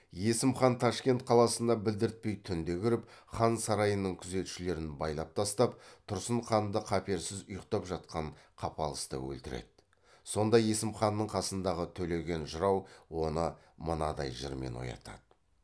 есім хан ташкент қаласына білдіртпей түнде кіріп хан сарайының күзетшілерін байлап тастап тұрсын ханды қаперсіз ұйықтап жатқан қапылыста өлтіреді сонда есім ханның қасындағы төлеген жырау оны мынадай жырмен оятады